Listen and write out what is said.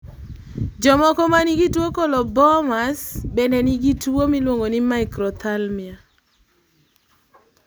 jomoko manigi tuwo colobomas bende nigi tuwo miluongoni microphthalmia